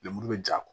Lemuru be ja